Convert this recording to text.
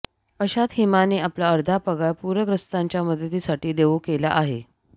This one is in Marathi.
अशात हिमाने आपला अर्धा पगार पूरग्रस्तांच्या मदतीसाठी देऊ केला आहे